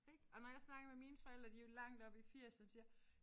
Ik og når jeg snakker med mine forældre de jo langt oppe i firserne de siger